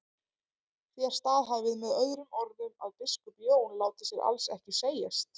Þér staðhæfið með öðrum orðum að biskup Jón láti sér alls ekki segjast.